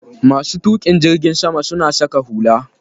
Masu tuƙin jirgin sama suna saka hula.